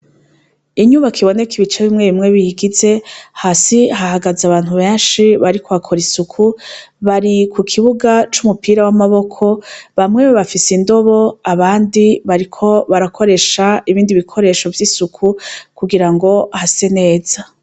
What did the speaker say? Inyubako iboneka ibice bimwe bimwe biyigize, hasi hahagaze abantu benshi bariko bakora isuku, bari ku kibuga c'umupira w'amaboko, bamwe bafise indobo abandi bariko barakoresha ibindi bikoresho vy'isuku kugira ngo hase neza.